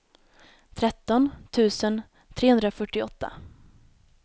tretton tusen trehundrafyrtioåtta